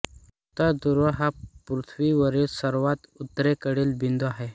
उत्तर ध्रुव हा पृथ्वीवरील सर्वात उत्तरेकडील बिंदू आहे